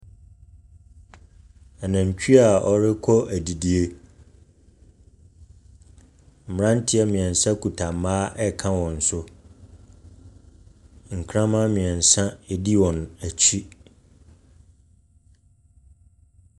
Anatwie awɔrekɔ adidi. Mmerteɛ mmeɛnsa kita mmaa reka wɔn so. Nktaman mmeɛnsa di wɔn akyi.